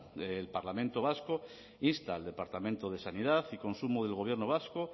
el parlamento vasco insta al departamento de sanidad y consumo del gobierno vasco